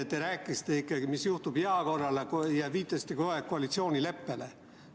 Te rääkisite, mis juhtub jaa korral, ja viitasite kogu aeg koalitsioonileppele.